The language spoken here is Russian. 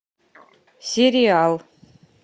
сериал